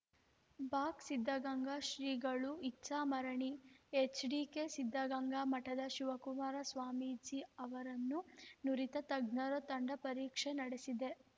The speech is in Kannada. ಬಾಕ್ಸ್ ಸಿದ್ಧಗಂಗಾ ಶ್ರೀಗಳು ಇಚ್ಛಾ ಮರಣಿ ಎಚ್‌ಡಿಕೆ ಸಿದ್ಧಗಂಗಾ ಮಠದ ಶಿವಕುಮಾರಸ್ವಾಮಿಜಿ ಅವರನ್ನು ನುರಿತ ತಜ್ಞರ ತಂಡ ಪರೀಕ್ಷೆ ನಡೆಸಿದೆ